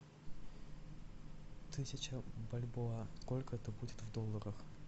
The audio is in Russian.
тысяча бальбоа сколько это будет в долларах